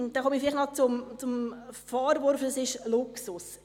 Dann komme ich noch auf den Vorwurf zu sprechen, es sei Luxus.